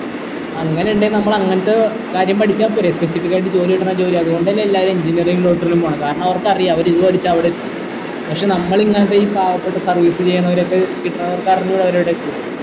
അങ്ങനെ ഇണ്ടേൽ നമ്മൾ അങ്ങനത്തെ കാര്യം പഠിച്ച പോര specific ആയിട്ട് ജോലി കിട്ടണ ജോലി അതോണ്ട് അല്ലെ എല്ലാരും engineering ലോട്ട് പോണേ കാരണം അവർക്കറിയ അവര് ഇത് പഠിച്ച അവിടെ എത്തും പക്ഷേ നമ്മള് ഇങ്ങനെ ഈ പാവപ്പെട്ട service ചെയ്യണവരൊക്കെ കിട്ടണ എത്തും